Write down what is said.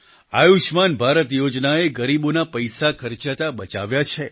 આયુષ્યમાન ભારત યોજનાએ ગરીબોના પૈસા ખર્ચાતા બચાવ્યા છે